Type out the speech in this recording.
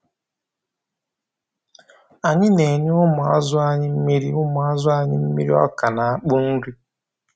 Anyị na-enye ụmụazụ anyị mmiri ụmụazụ anyị mmiri ọka na akpụ nri.